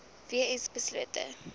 w s beslote